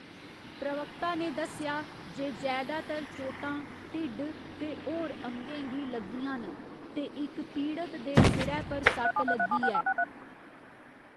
प्रवक्ता ने दस्सेआ जे जैदातर चोटां ढिड्ड ते होर अंगें गी लग्गियां न, ते इक पीड़त दे सिरै पर सट्ट लग्गी ऐ।